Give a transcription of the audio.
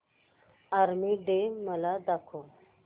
army day मला दाखव